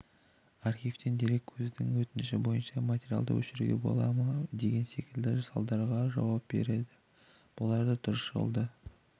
архивтен дереккөздің өтініші бойынша материалды өшіруге бола ма деген секілді сауалдарға жауап береді олар дұрыс жолды